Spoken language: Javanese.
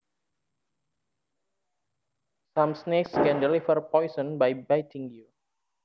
Some snakes can deliver poison by biting you